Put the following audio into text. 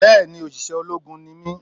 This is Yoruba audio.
Bẹ́ẹ̀ni òṣìṣẹ́ ológun ni mí